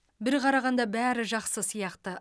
бір қарағанда бәрі жақсы сияқты